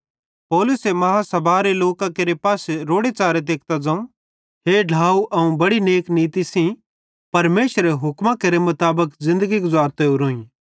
पौलुसे महासभारे लोकां केरे पासे रोड़ेच़ारे तेकतां ज़ोवं हे ढ्लाव अवं बेड़ि नेक नीती सेइं परमेशरेरे हुक्मां केरे मुताबिक ज़िन्दगी गुज़ारतो ओरोईं